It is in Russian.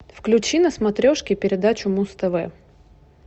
включи на смотрешке передачу муз тв